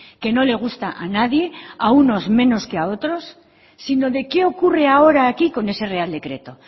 que no le gusta a nadie a unos menos que a otros sino de qué ocurre ahora aquí con ese real decreto